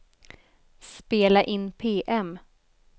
spela in PM